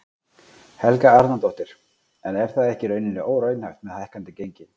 Helga Arnardóttir: En er það ekki í rauninni óraunhæft með hækkandi gengi?